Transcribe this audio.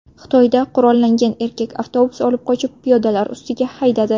Xitoyda qurollangan erkak avtobus olib qochib, piyodalar ustiga haydadi.